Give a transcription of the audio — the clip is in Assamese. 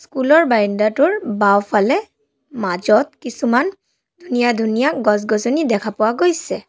স্কুল ৰ ব্ৰইনণ্ডা টোৰ বাওঁফালে মাজত কিছুমান ধুনীয়া ধুনীয়া গছ-গছনি দেখা পোৱা গৈছে।